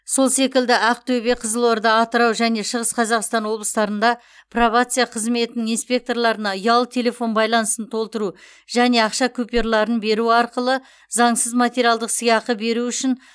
сол секілді ақтөбе қызылорда атырау және шығыс қазақстан облыстарында пробация қызметінің инспекторларына ұялы телефон балансын толтыру және ақша купюраларын беру арқылы заңсыз материалдық сыйақы беру үшін